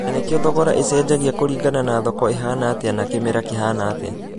Nanĩkio thogora ĩchenjagia kũrigana na thoko ĩhana atĩa na kĩmera kĩhana atĩa